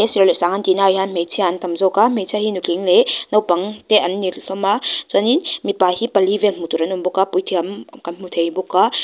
serh leh sang an tihnaah hian hmeichhia an tam zawk a hmeichhia hi nutling leh naupang te an ni hlawm a chuanin mipa hi pali vel hmuh tur an awm bawk a puithiam kan hmu thei bawk a --